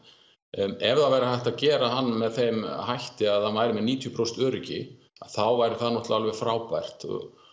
ef það væri hægt að gera hann með þeim hætti að hann væri með níutíu prósent öryggi þá væri það alveg frábært